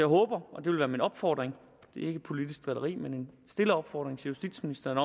håber og det vil være min opfordring det er ikke politisk drilleri men en stille opfordring til justitsministeren